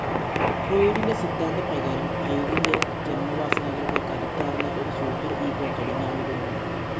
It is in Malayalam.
ഫ്രോയ്ഡിൻ്റെ സിദ്ധാന്തപ്രകാരം ഇ ഡി ൻ്റെ ജന്മവാസനകൾക്ക് കരുത്താർന്ന ഒരു സൂപ്പർ ഇഗോ കടിഞ്ഞാണിടുന്നു.